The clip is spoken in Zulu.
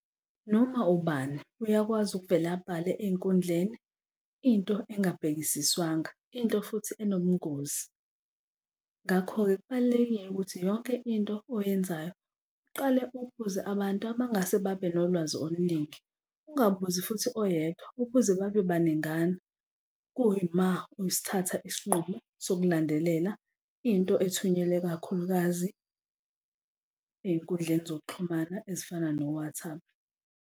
Noma ubani uyakwazi ukuvele abhale ey'nkundleni into engabhekisiswanga into futhi enobungozi. Ngakho-ke kubalulekile ukuthi yonke into oyenzayo uqale ubuze abantu abangase babe nolwazi oluningi, ungabuzi futhi oyedwa ubuze babe baningana kuyima usithatha isinqumo sokulandelela into ethunyelwe, kakhulukazi ey'nkundleni zokuxhumana ezifana no-WhatsApp.